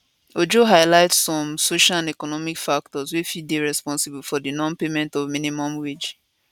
ojo highlight some social and economic factors wey fit dey responsible for di nonpayment of minimum wage